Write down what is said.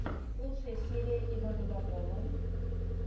лучшая серия ивана боброва